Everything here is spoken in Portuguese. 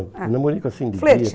namorico assim de dia. Ah, flerte.